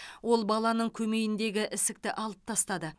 ол баланың көмейіндегі ісікті алып тастады